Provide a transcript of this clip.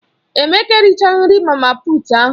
Emeka erichaghi nri mama puut ahụ.